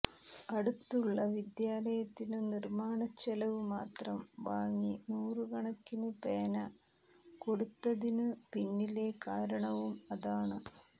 അടുത്തുള്ള വിദ്യാലയത്തിനു നിര്മ്മാണച്ചെലവു മാത്രം വാങ്ങി നൂറു കണക്കിനു പേന കൊടുത്തതിനു പിന്നിലെ കാരണവും അതാണ്